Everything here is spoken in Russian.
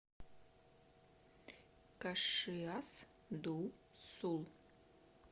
кашиас ду сул